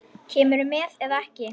Kemurðu með eða ekki.